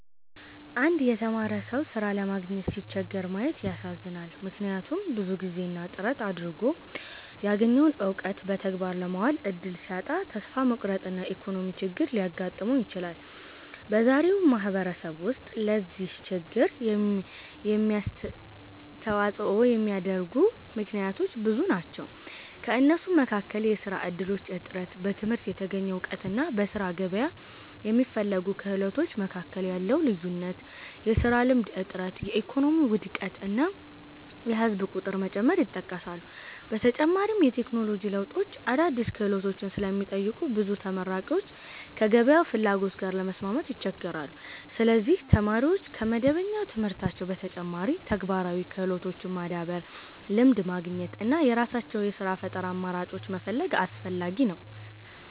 አንድ የተማረ ሰው ሥራ ለማግኘት ሲቸገር ማየት ያሳዝናል፤ ምክንያቱም ብዙ ጊዜና ጥረት አድርጎ ያገኘውን እውቀት በተግባር ለማዋል እድል ሲያጣ ተስፋ መቁረጥና የኢኮኖሚ ችግር ሊያጋጥመው ይችላል። በዛሬው ማህበረሰብ ውስጥ ለዚህ ችግር የሚያስተዋጽኦ የሚያደርጉ ምክንያቶች ብዙ ናቸው። ከእነሱም መካከል የሥራ እድሎች እጥረት፣ በትምህርት የተገኘ እውቀትና በሥራ ገበያ የሚፈለጉ ክህሎቶች መካከል ያለው ልዩነት፣ የሥራ ልምድ እጥረት፣ የኢኮኖሚ ውድቀት እና የህዝብ ቁጥር መጨመር ይጠቀሳሉ። በተጨማሪም የቴክኖሎጂ ለውጦች አዳዲስ ክህሎቶችን ስለሚጠይቁ ብዙ ተመራቂዎች ከገበያው ፍላጎት ጋር ለመስማማት ይቸገራሉ። ስለዚህ ተማሪዎች ከመደበኛ ትምህርታቸው በተጨማሪ ተግባራዊ ክህሎቶችን ማዳበር፣ ልምድ ማግኘት እና የራሳቸውን የሥራ ፈጠራ አማራጮች መፈለግ አስፈላጊ ነው።